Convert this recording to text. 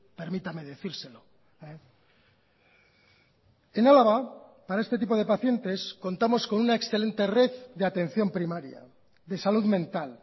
permítame decírselo en álava para este tipo de pacientes contamos con una excelente red de atención primaria de salud mental